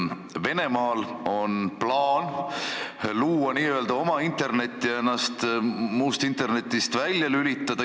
Venemaal on plaan luua n-ö oma internet ja ennast muust internetist välja lülitada.